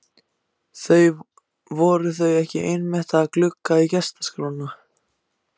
Voru þau ekki einmitt að glugga í gestaskrána?